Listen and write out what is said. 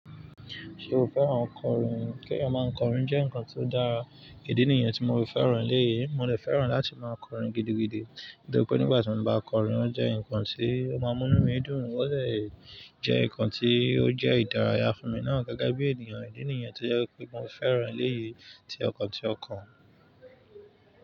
Ṣé o fẹ́ran kọrin? Kí èèyàn máa kọrin jẹ́ nǹkan tó dára. Ìdí nìyẹn tí mo fi fẹ́ran eléyìí. Mo dè fẹ́ran láti máa kọrin gidigidi, nítorí pé nígbà tí mo bá kọrin, ó jẹ́ nǹkan tí ó máa mú mí dùn, ó de jẹ́ nǹkan tí ó jẹ́ ìdárayá fún mi náà gege bí ènìyàn. Ìdí nìyẹn tí ó jẹ́ wipé mo fẹ́ran eléyìí tí ọkàn tí ọkàn.